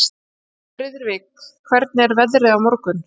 Friðrik, hvernig er veðrið á morgun?